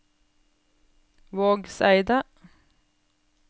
Vågseidet